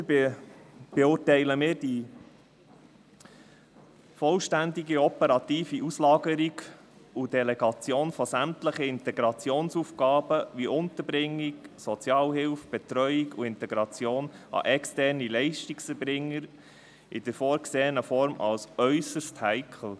Weiter erachten wir die vollständige operative Auslagerung und Delegation sämtlicher Integrationsaufgaben, wie Unterbringung, Sozialhilfe, Betreuung und Integration, an externe Leistungserbringer in der vorgesehenen Form als äusserst heikel.